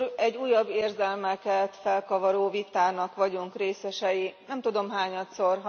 Egy újabb, érzelmeket felkavaró vitának vagyunk részesei, nem tudom, hányadszor.